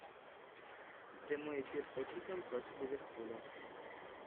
прямой эфир тоттенхэм против ливерпуля